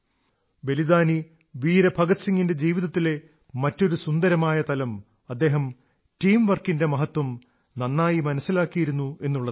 ബലിദാനി വീര ഭഗത് സിംഗിന്റെ ജീവിത്തിലെ മറ്റൊരു സുന്ദരമായ തലം അദ്ദേഹം ടീംവർക്കിന്റെ മഹത്വം നന്നായി മനസ്സിലാക്കിയിരുന്നു എന്നുള്ളതാണ്